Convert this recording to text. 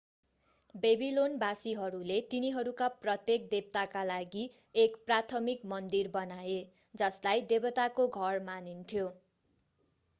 बेबिलोनवासीहरूले तिनीहरूका प्रत्येक देवताका लागि एक प्राथमिक मन्दिर बनाए जसलाई देवताको घर मानिन्थ्यो